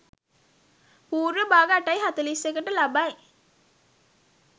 පූර්ව භාග 8.41 ට ලබයි.